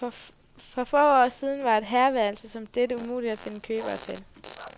For få år siden var et herreværelse som dette umuligt at finde købere til.